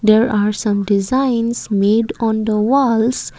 there are some designs made on the walls.